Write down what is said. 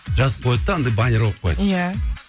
жазып қояды да андай баннер қойып кояды иә